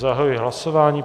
Zahajuji hlasování.